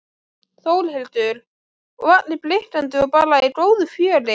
Þórhildur: Og allir blikkandi og bara í góðu fjöri?